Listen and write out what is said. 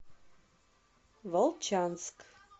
волчанск